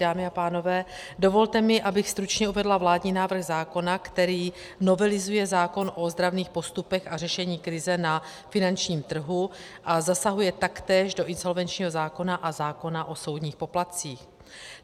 Dámy a pánové, dovolte mi, abych stručně uvedla vládní návrh zákona, který novelizuje zákon o ozdravných postupech a řešení krize na finančním trhu a zasahuje taktéž do insolvenčního zákona a zákona o soudních poplatcích.